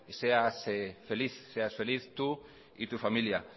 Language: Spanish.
seas feliz tú y tu familia